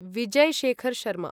Vijay Shekhar Sharma